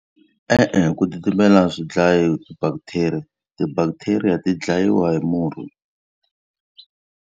E-e ku titimela swi dlayi ti-bacteria. Ti-bacteria ti dlayiwa hi murhi.